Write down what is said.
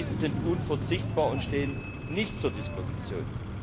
Diese sind unverzichtbar und stehen nicht zur Disposition.